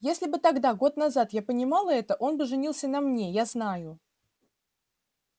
если бы тогда год назад я понимала это он бы женился на мне я знаю